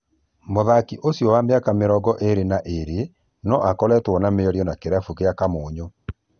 Mũthaki ũcio wa mĩaka mĩrongo ĩrĩ na ĩrĩ no akoretwo na mĩario na kĩrabu gĩa Kamuyu